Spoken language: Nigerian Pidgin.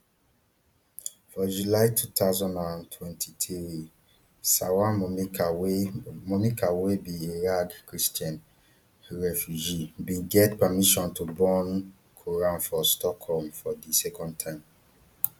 for july two thousand and twenty-three salwan momika wey momika wey be iraqi christian refugee bin get permission to burn quran for stockholm for di second time